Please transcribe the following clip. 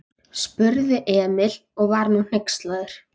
spurði Emil og var nú hneykslaður.